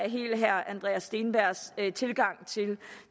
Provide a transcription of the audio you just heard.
helt herre andreas steenbergs tilgang til